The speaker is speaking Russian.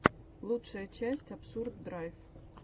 лучшая часть абсурд драйв